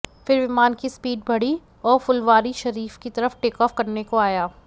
फिर विमान की स्पीड बढ़ी और फुलवारीशरीफ की तरफ टेकऑफ करने को आया